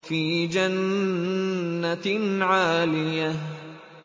فِي جَنَّةٍ عَالِيَةٍ